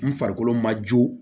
N farikolo ma joo